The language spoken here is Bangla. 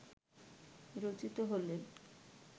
রচিত হলে